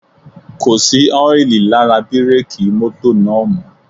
Kò sí ọ́ìlì lára bírèkì mọ́tò náà mọ́